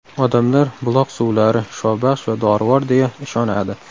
Odamlar buloq suvlari shifobaxsh va dorivor, deya ishonadi.